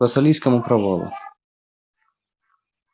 к вассалийскому провалу